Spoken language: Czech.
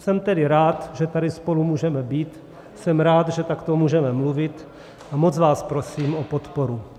Jsem tedy rád, že tady spolu můžeme být, jsem rád, že takto můžeme mluvit, a moc vás prosím o podporu.